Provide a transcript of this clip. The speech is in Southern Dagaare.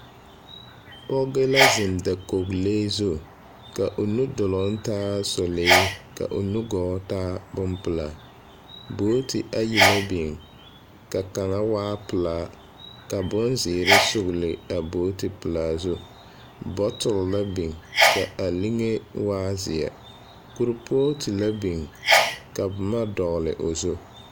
Pɔge la zeŋ dakolee zu. Kaa o nudoloŋ taa sɔlee, ka o nugɔɔ taa bompelaa. Booti ayi la biŋ, ka kaŋa waa pelaa, ka bozeere sugle a booti pelaa zu. Botol la biŋ, ka a liŋe waa zeɛ. Korpoote la biŋ ka boma dɔgle o zu.